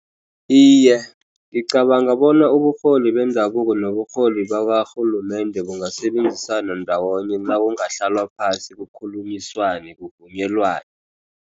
Iye, ngicabanga bona uburholi bendabuko noburholi bakarhulumende bungasebenzisana ndawonye. Nakungahlalwa phasi, kukhulunyiswane kuvunyelwane.